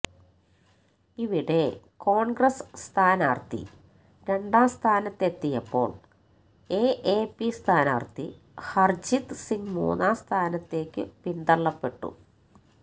ഇവിടെ കോണ്ഗ്രസ് സ്ഥാനാര്ഥി രണ്ടാം സ്ഥാനത്തെത്തിയപ്പോള് എഎപി സ്ഥാനാര്ഥി ഹര്ജീത് സിംഗ് മൂന്നാം സ്ഥാനത്തേക്കു പിന്തള്ളപ്പെട്ടു